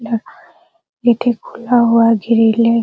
यहां खिड़की खुला हुआ है ग्रिले --